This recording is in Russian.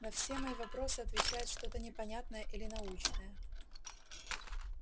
на все мои вопросы отвечает что-то непонятное или научное